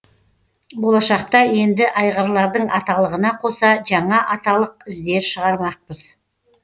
болашақта енді айғырлардың аталығына қоса жаңа аталық іздер шығармақпыз